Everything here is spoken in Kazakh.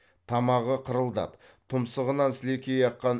тамағы қырылдап тұмсығынан сілекейі аққан